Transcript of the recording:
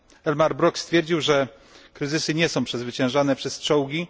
Elmar Brok stwierdził, że kryzysy nie są przezwyciężane przez czołgi.